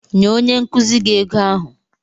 Nye onye nkuzi gị ego ahụ.